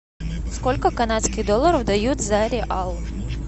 сколько канадских долларов дают за реал